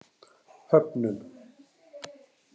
Höfnum